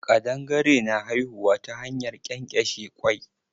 Ƙadangare na haihuwa ta hanyar ƙenƙeshe kwai.